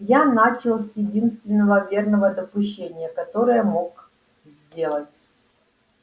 я начал с единственного верного допущения которое мог сделать